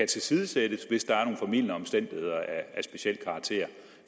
tilsidesættes hvis der er nogle formildende omstændigheder af speciel karakter